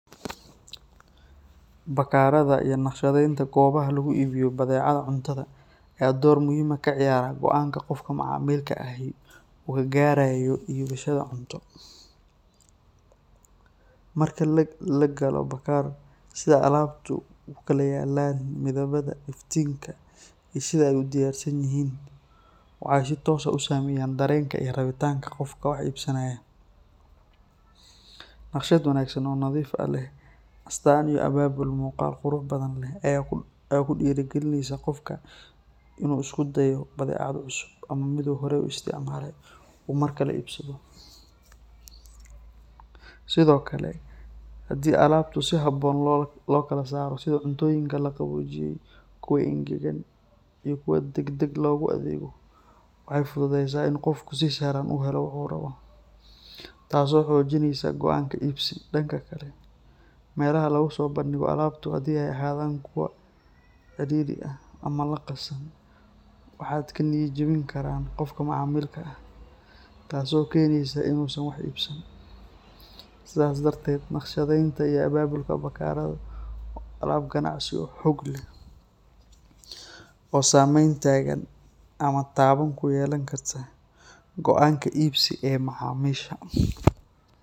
Bakhaarada iyo naqshadeynta goobaha lagu iibiyo badeecadaha cuntada ayaa door muhiim ah ka ciyaara go’aanka qofka macaamilka ahi uu ka gaarayo iibashada cunto. Marka la galo bakhaar, sida alaabtu u kala yaallaan, midabada, iftiinka, iyo sida ay u diyaarsan yihiin waxay si toos ah u saameeyaan dareenka iyo rabitaanka qofka wax iibsanaya. Naqshad wanaagsan oo nadiif ah, leh astaan iyo abaabul muuqaal qurux badan leh ayaa ku dhiirrigelisa qofka inuu isku dayo badeecad cusub ama mid uu horey u isticmaalay uu markale iibsado. Sidoo kale, haddii alaabtu si habboon loo kala saaro sida cuntooyinka la qaboojiyey, kuwa engegan, iyo kuwa degdeg loogu adeego, waxay fududeysaa in qofku si sahlan u helo waxa uu rabo, taasoo xoojinaysa go’aanka iibsi. Dhanka kale, meelaha lagu soo bandhigo alaabtu haddii ay ahaadaan kuwo cidhiidhi ah ama qasan, waxay ka niyad jebin karaan qofka macaamilka ah, taasoo keenaysa inuusan wax iibsan. Sidaas darteed, naqshadeynta iyo abaabulka bakhaaradu waa aalad ganacsi oo xoog leh oo saameyn togan ama taban ku yeelan karta go’aanka iibsi ee macaamiisha.